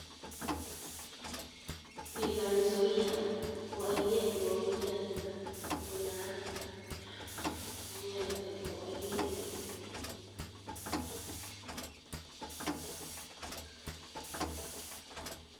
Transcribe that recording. River Nzoai ko ainet neoo in Nyanza ako naat, in Nyanza ko ainet neeo.